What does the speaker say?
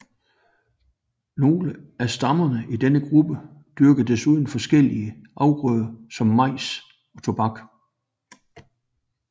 Nogle af stammerne i denne gruppe dyrkede desuden forskellige afgrøder som majs og tobak